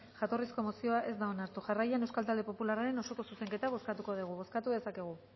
jatorrizko mozioa ez da onartu jarraian euskal talde popularraren osoko zuzenketa bozkatuko dugu bozkatu dezakegu